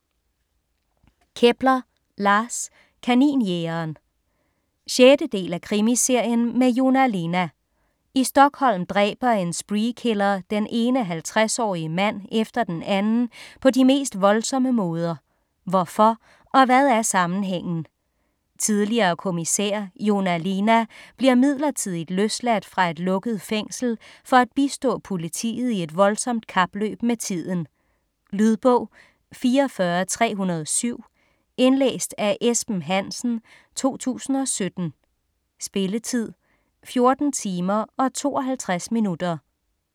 Kepler, Lars: Kaninjægeren 6. del af Krimiserien med Joona Linna. I Stockholm dræber en spree killer den ene 50-årige mand efter den anden på de mest voldsomme måder. Hvorfor og hvad er sammenhængen? Tidligere kommissær Joona Linna bliver midlertidigt løsladt fra et lukket fængsel for at bistå politiet i et voldsomt kapløb med tiden. Lydbog 44307 Indlæst af Esben Hansen, 2017. Spilletid: 14 timer, 52 minutter.